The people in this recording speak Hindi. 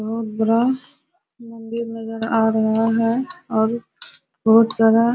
बहुत बड़ा मंदिर नजर आ रहा है और बहुत सारा --